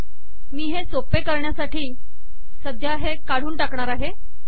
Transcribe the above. मी हे सोपे करण्यासाठी सध्या हे काढून टाकणार आहे